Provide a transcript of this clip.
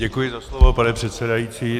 Děkuji za slovo, pane předsedající.